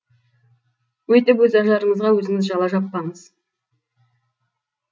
өйтіп өз ажарыңызға өзіңіз жала жаппаңыз